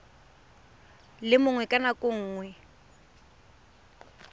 le mongwe ka nako nngwe